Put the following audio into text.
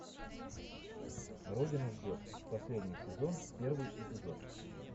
родина ждет последний сезон первый эпизод